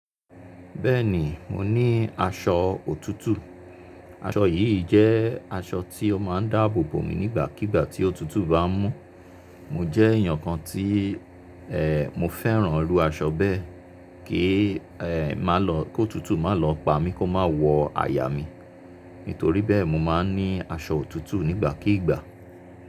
Bẹ́ẹ̀ni, mo ní aṣọ òtútù. Aṣọ yìí jẹ́ aṣọ tí ó máa ń dáàbò bò mí nígbàkígbà tí òtútù bá mú. Mo jẹ́ èèyàn kan tí mo fẹ́ràn ru aṣọ bẹ́ẹ̀ kí má lọ kó òtútù má lọ pa mí kó má wọ àyà mi. Nítorí bẹ́ẹ̀, mo máa ń ní aṣọ òtútù nígbàkígbà.